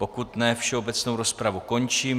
Pokud ne, všeobecnou rozpravu končím.